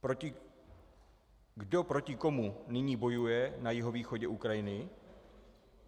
Kdo proti komu nyní bojuje na jihovýchodě Ukrajiny?